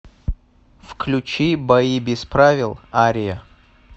включи бои без правил ария